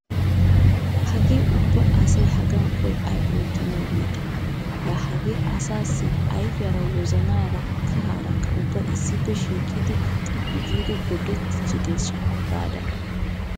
Hagee ubba asay hagaan qoy ayba oottanawu yiide. Laa hagaa asaassi ayfiyaara wozanaara kahaarakka ubbay issippe shiiqidi xiphphi giidi gorddettiichideshsha gaada.